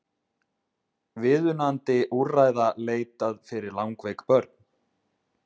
Viðunandi úrræða leitað fyrir langveik börn